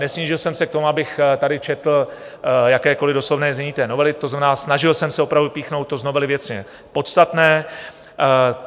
Nesnížil jsem se k tomu, abych tady četl jakékoliv doslovné znění té novely, to znamená, snažil jsem se opravdu vypíchnout to z novely věcně podstatné.